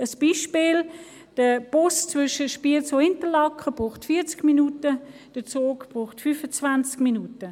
Dazu ein Beispiel: Der Bus benötigt zwischen Spiez und Interlaken 40 Minuten, der Zug braucht 25 Minuten.